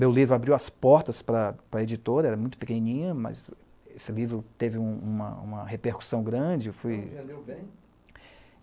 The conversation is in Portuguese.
Meu livro abriu as portas para a editora, era muito pequenininha, mas esse livro teve uma repercussão grande.